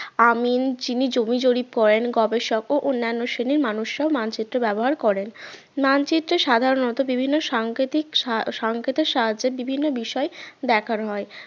আমিন যিনি জমি জরিপ করেন গবেষক ও অন্যান্য শ্রেণীর মানুষরা মানচিত্র ব্যবহার করেন মানচিত্র সাধারণত বিভিন্ন সাংকেতিক সংকেতের সাহায্যের বিভিন্ন বিষয় দেখানো হয়